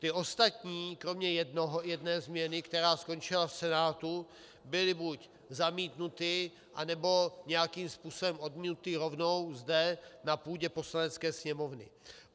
Ty ostatní kromě jedné změny, která skončila v Senátu, byly buď zamítnuty, anebo nějakým způsobem odmítnuty rovnou zde na půdě Poslanecké sněmovny.